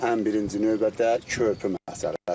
Ən birinci növbədə körpü məsələsi.